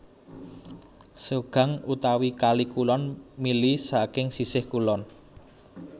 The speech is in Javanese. Seogang utawi Kali Kulon mili saking sisih kulon